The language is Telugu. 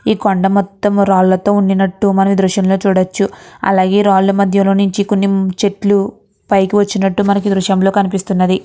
ఈ కొండ మొత్తం రాళ్ళతో ఉన్నట్టు మనం ఈ దృశ్యం లో చూడచ్చు అలాగే రాళ్ళ మద్య లో నించి కొన్ని చెట్లు పైకి వచ్చినట్టు మనకి ఈ దృశ్యం లో కనిపిస్తున్నది.